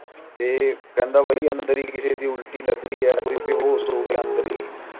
ਤੇ ਕਹਿੰਦਾ ਬਾਈ ਮਨੁ ਕਿਸੇ ਦੀ ਉਲਟੀ ਲਾਗ੍ਰਹੇ ਆ ਯਾਰ ਕੋਈ ਬੇਹੋਏਸ਼ ਹੋਗਿਆ ਅੰਦਰ ਹੀ